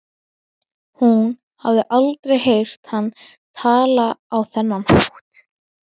Hún hafði aldrei heyrt hann tala á þennan hátt.